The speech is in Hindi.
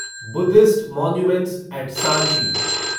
Buddhist monuments at Sanchi